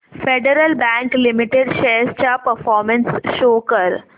federal bank limited shares चा performance show कर